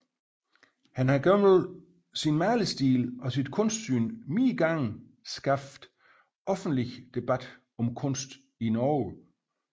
Han har gennem sin malerstil og sit kunstsyn flere gange skabt offentlig debat om kunst i Norge